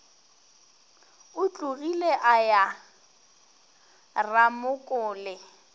o tlogile a ya ramokole